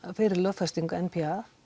fyrir lögfestingu n p a